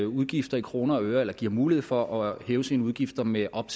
udgifter i kroner og øre eller giver mulighed for at hæve sine udgifter med op